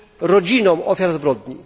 rodzinom ofiar zbrodni.